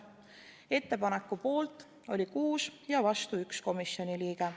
Ettepaneku poolt oli 6 ja vastu 1 komisjoni liige.